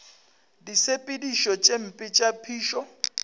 disepediši tše mpe tša phišo